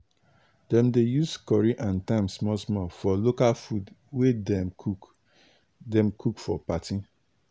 dem dey use curry and thyme small small for local food wey dem cook dem cook for party.